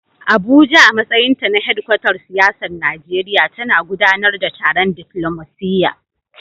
Abuja, a matsayin hedkwatar siyasar Najeriya, tana gudanar da taron diflomasiyya.